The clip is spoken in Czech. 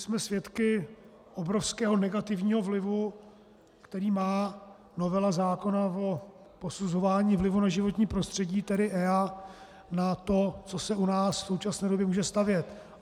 Jsme svědky obrovského negativního vlivu, který má novela zákona o posuzování vlivu na životní prostředí, tedy EIA, na to, co se u nás v současné době může stavět.